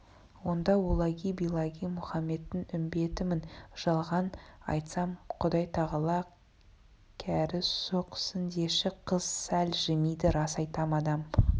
онда оллаги биллаги мұхаммедтің үмбетімін жалған айтсам құдайтағала кәрі соқсындеші қыз сәл жымиды рас айтам адам